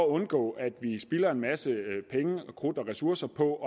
undgå at vi spilder en masse penge og krudt og ressourcer på